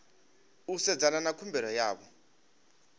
u sedzana na khumbelo yavho